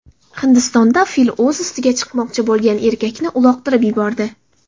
Hindistonda fil o‘z ustiga chiqmoqchi bo‘lgan erkakni uloqtirib yubordi .